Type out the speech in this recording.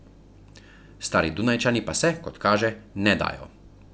Stari Dunajčani pa se, kot kaže, ne dajo.